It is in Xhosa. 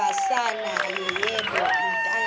kasathana yeyele ethangeni